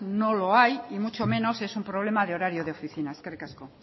no lo hay y mucho menos es un problema de horario de oficinas eskerrik asko